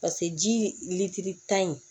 Paseke ji litiri tan in